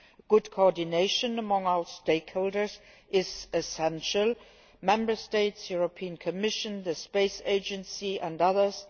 Good coordination among our stakeholders is essential Member States, the Commission, the Space Agency and others.